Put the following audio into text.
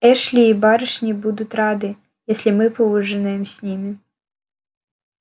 эшли и барышни будут рады если мы поужинаем с ними